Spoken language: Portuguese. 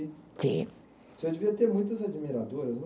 Sim. O senhor devia ter muitas admiradoras, não?